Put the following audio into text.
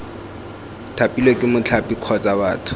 thapilwe ke mothapi kgotsa batho